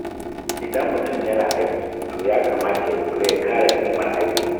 Idan mutum yana aiki, to ya kamata ya kula ya kare ƙimar aikin.